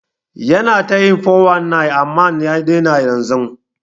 Yana ta yin 419 amman ya daina yanzun.